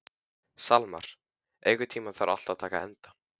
Salmar, einhvern tímann þarf allt að taka enda.